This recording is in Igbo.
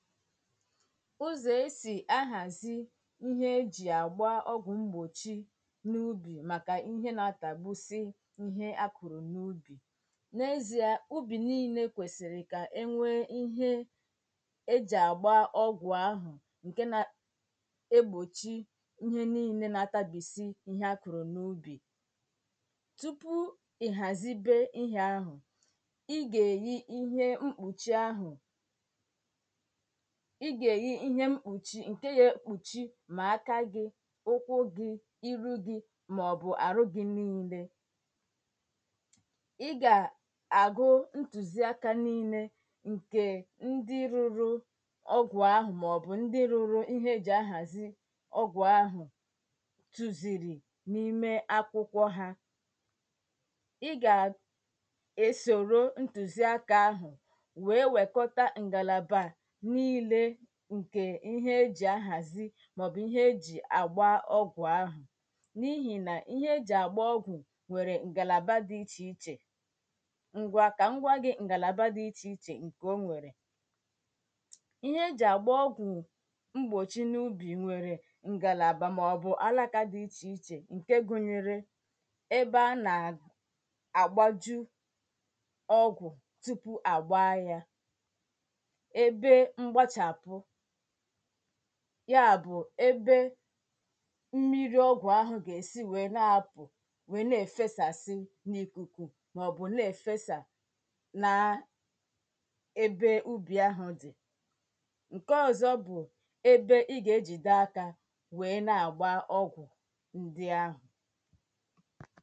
Uzo e si aghazi ihe e ji agba ọgwụ mgbochi n'ubi maka ihe na-atagbusi ihe a kụrụ n'ubi. N'ezie ubi niile kwesịrị ka e nwee ihe e ji agba ọgwụ ahụ nke na egbochi i ihe niile na-atagbusi ihe niile a kụrụ n'ubi. tupu i hazibe ihe ahụ ị ga-eyi ihe mkpuchi ahụ ị ga-eyi ihe mkpuchi nke ga-ekpuchi ma aka gị, ụkwụ gị, iru gị maọbụ arụ gị niile. Ị ga-agụ ntụziaka niile nke ndị rụrụ ọgwụ ahụ maọbụ ndị rụrụ ihe e ji ahazi ọgwụ ahụ tuziri n'ime akwụkwọ ha Ị ga -esoro ntụziaka ahụ wee wekọta ngalaba niile nke ihe e ji ahazi maọbụ ihe e ji agba ọgwụ ahụ n'ihi na ihe e ji agba ọgwụ nʷere ngalaba dị iche iche Ngwa ka m gwa gị ngalaba dị iche iche o nwere Ihe e ji agba ọgwụ mgbochi n'ubi nwere ngalaba maọbụ alaka dị iche iche nke gụnyere ebe a na- agbaju ọgwụ tupu agbaa ya ebe mgbachapụ ya bụ ebe mmiri ọgwụ ahụ ga-esi wee na-apụ wee na-efesasị n'ikuku maọbụ na-efesa na ebe ubi ahụ dị. nke ọzọ bụ ebe ị ga-ejide aka wee na-agba ọgwụ ndị ahụ